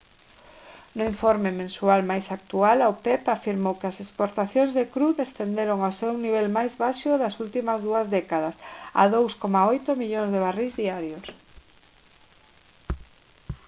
no informe mensual máis actual a opep afirmou que as exportacións de cru descenderon ao seu nivel máis baixo das últimas dúas décadas a 2,8 millóns de barrís diarios